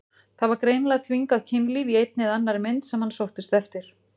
Það var greinilega þvingað kynlíf í einni eða annarri mynd sem hann sóttist eftir.